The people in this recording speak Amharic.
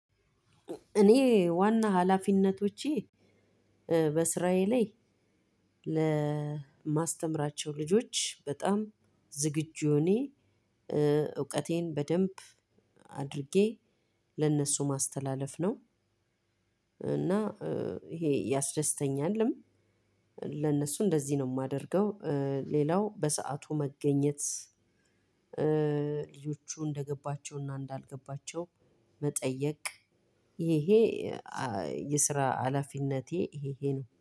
እኔ ዋና ኃላፊነቶቼ በስራዬ ላይ ለማስተምራቸው ልጆች ዝግጁ ሁኘ እውቀቴን በደንብ አድርጌ ለነሱ ማስተላለፍ ነው። እና እሄ ያስደስተኛልም ለነሱ እንደዚ ነው ማደርገው ሌላው በሰአቱ መገኘት ልጆቹ እንደገባቸው እና እንዳልገባቸው መጠየቅ ይሄ የስራ ሀላፊነቴ ይሄ ነው።